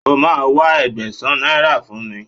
O máa wá Ẹgbẹ̀sán náírà fún mi.